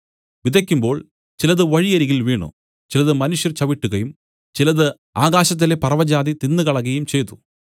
വിതയ്ക്കുമ്പോൾ ചിലത് വഴിയരികിൽ വീണു ചിലത് മനുഷ്യർ ചവിട്ടുകയും ചിലത് ആകാശത്തിലെ പറവജാതി തിന്നുകളകയും ചെയ്തു